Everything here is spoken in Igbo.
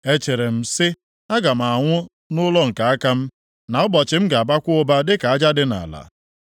“Echere m sị, ‘Aga m anwụ nʼụlọ nke aka m, na ụbọchị m ga-abakwa ụba dịka aja dị nʼala.